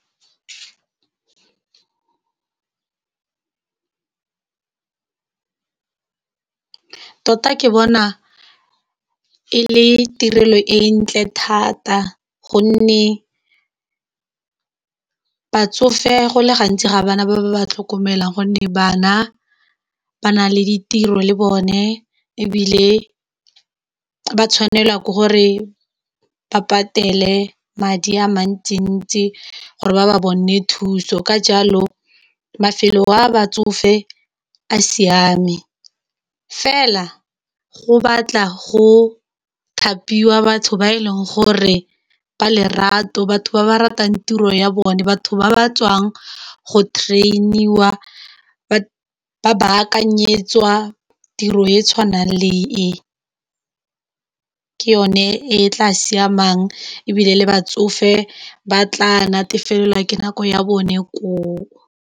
Tota ke bona e le tirelo e ntle thata gonne batsofe go le gantsi ga bana ba ba tlhokomelang gonne bana ba nale ditiro le bone e bile ba tshwanelwa ke gore ba patele madi a mantsi ntsi gore ba ba bone thuso, ka jalo mafelo a batsofe a siame fela go batla go thapiwa batho ba e leng gore ba lerato batho ba ba ratang tiro ya bone, batho ba ba tswang go training, ba ba kanyetswa tiro e tshwanang le e ke yone e tla siamang e bile le batsofe ba tla natefela ka nako ya bone ko.